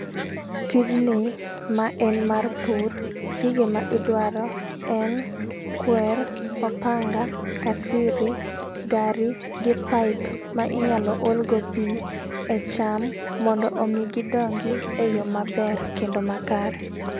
Tijni ma en mar pur. Gige ma idwaro en kwer, opanga, kasiri, gari gi paip ma inyalo olgo pii e cham mondo mi gidongi e yoo maber kendo makare.